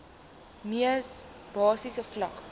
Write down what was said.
mees basiese vlak